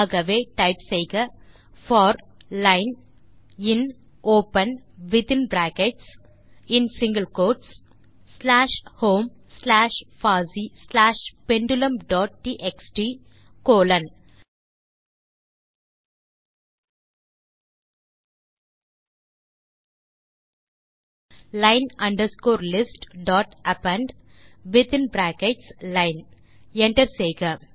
ஆகவே டைப் செய்க for line in open within brackets மற்றும் single quotes slash home slash பாசி slash pendulum dot TXT colon line underscore list dot append within brackets line Enter செய்க